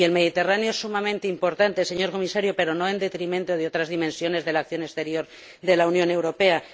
Y el Mediterráneo es sumamente importante, señor Comisario, pero no en detrimento de otras dimensiones de la acción exterior de la Unión Europea.